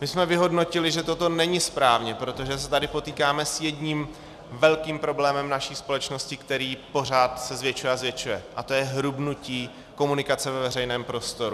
My jsme vyhodnotili, že toto není správně, protože se tady potýkáme s jedním velkým problémem naší společnosti, který se pořád zvětšuje a zvětšuje, a to je hrubnutí komunikace ve veřejném prostoru.